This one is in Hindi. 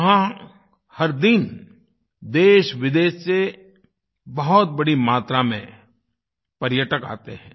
वहाँ हर दिन देशविदेश से बहुत बड़ी मात्रा में पर्यटक आते हैं